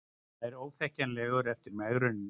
Nær óþekkjanlegur eftir megrunina